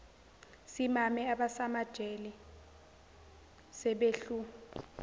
simame abasemajele sebehlu